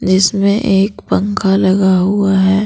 जिसमें एक पंखा लगा हुआ है ।